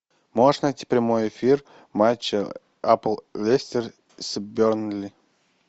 можешь найти прямой эфир матча апл лестер с бернли